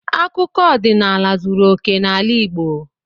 Akụkọ ọdịnala zuru okè n'ala Igbo.